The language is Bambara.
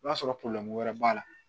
I b'a sɔrɔ wɛrɛ b'a la